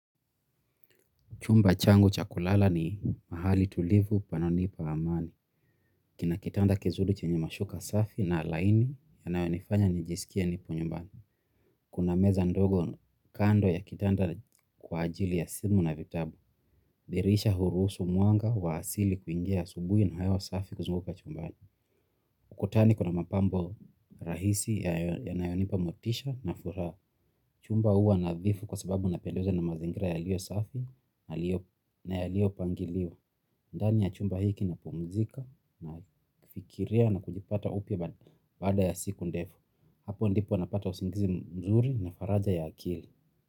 Chumba changu cha kulala ni mahali tulivu pananipa amani. Kina kitanda kizuri chenye mashuka safi na laini yanayonifanya nijisikie nipo nyumbani. Kuna meza ndogo kando ya kitanda kwa ajili ya simu na vitabu. Dirisha hurusu mwanga wa asili kuingia asubuhi na hewa safi kuzunguka chumbani. Kutani kuna mapambo rahisi yanayonipa motisha na furaha. Chumba huwa nadhifu kwa sababu napendezwa na mazingira yaliyo safi na yaliyopangiliwa. Ndani ya chumba hiki napumzika, nafikiria na kujipata upya baada ya siku ndefu. Hapo ndipo napata usingizi mzuri na faraja ya akili.